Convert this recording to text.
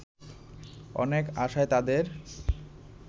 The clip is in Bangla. অনেক আশায় তাদের